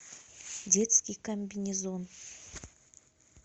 детский комбинезон